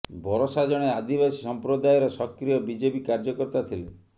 ବରସା ଜଣେ ଆଦିବାସୀ ସମ୍ପ୍ରଦାୟର ସକ୍ରିୟ ବିଜେପି କାର୍ଯ୍ୟକର୍ତ୍ତା ଥିଲେ